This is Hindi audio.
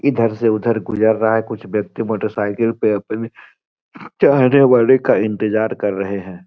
इधर से उधर गुजर रहा है कुछ व्यक्ति मोटर साइकिल पे अपने चाहने वाले का इंतजार कर रहे हैं।